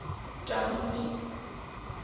dominee